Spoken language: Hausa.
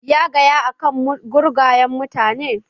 Ya gaya ma akan gurgayen mutanen?